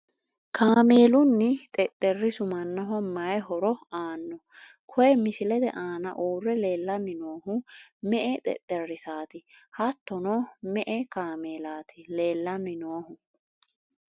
kaameelunna xexxerisu mannaho mayii horo aanno? koye misilete aana uurre leelanni noohu me''e xexxerisaati? hattono me''e kaameelaati? leelanni noohu ?